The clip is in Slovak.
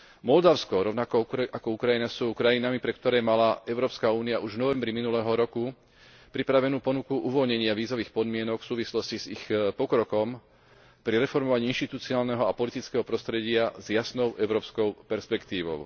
Moldavsko rovnako ako Ukrajina sú krajinami, pre ktoré mala Európska únia už v novembri minulého roku pripravenú ponuku uvoľnenia vízových podmienok v súvislosti s ich pokrokom pri reformovaní inštitucionálneho a politického prostredia s jasnou európskou perspektívou.